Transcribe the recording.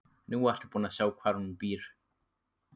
Nú ertu búin að sjá hvar hún býr.